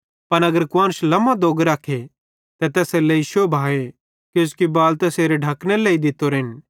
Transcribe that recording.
पन अगर कुआन्श लमो दोग रखे ते तैसेरेलेइ शोभाए किजोकि बाल तैसेरे ढकनेरे लेइ दित्तोरेन